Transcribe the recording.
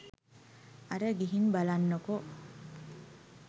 අර ගිහින් බලන්නකෝ